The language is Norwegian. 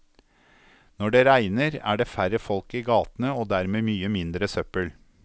Når det regner, er det færre folk i gatene og dermed mye mindre søppel.